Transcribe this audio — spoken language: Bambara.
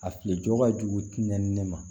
A fili jo ka jugu tɛnɛ ne ma